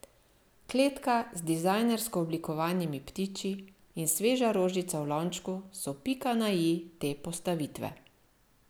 Kletka z dizajnersko oblikovanimi ptiči in sveža rožica v lončku so pika na i te postavitve.